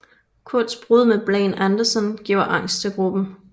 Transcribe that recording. Kurts brud med Blaine Anderson giver angst til gruppen